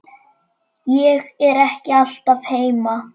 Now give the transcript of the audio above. Ég er ekki alltaf heima.